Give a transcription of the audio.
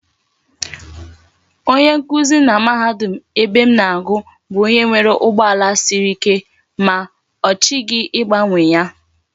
Onye nkuzi na mahadum ebem na agu bu onye nwere ugbo ala Siri ike, ma ochighi igbanwe ya